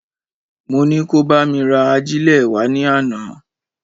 Mo ni kó bá mi ra agílè wá ní àná